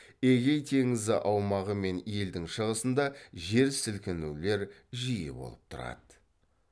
эгей теңізі аумағы мен елдің шығысында жер сілкінулер жиі болып тұрады